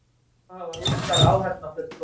Þá hafa Rússar áheyrnarfulltrúa